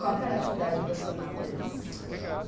Qual que era a atividade profissional deles?